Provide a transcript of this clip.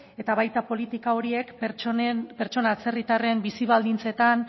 eta baita politika horiek pertsona atzerritarren bizi baldintzetan